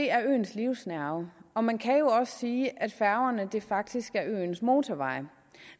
er øens livsnerve og man kan jo også sige at færgerne faktisk er øens motorveje